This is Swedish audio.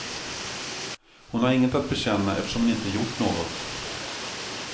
Hon har inget att bekänna eftersom hon inte gjort något.